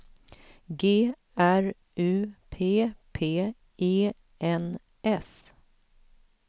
G R U P P E N S